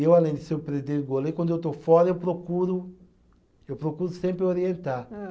Eu, além de ser o, quando eu estou fora, eu procuro, eu procuro sempre orientar.